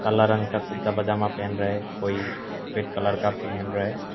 काला रंग का कुर्ता पजामा पेहन रहा है कोई सफेद कलर का पहन रहा है।